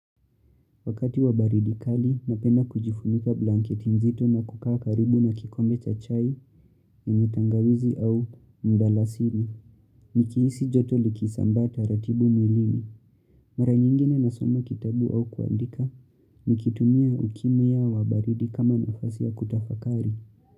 Wakati wa baridi kali napenda kujifunika blanketi nzito na kukaa karibu na kikombe cha chai, yenye tangawizi au mdalasini. Nikihisi joto likisambaa taratibu mwilini. Mara nyingine nasoma kitabu au kuandika, nikitumia ukimu yao wa baridi kama nafasi ya kutafakari.